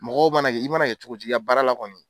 Mɔgɔw mana kɛ i mana kɛ cogo cogo i ka baara la kɔni.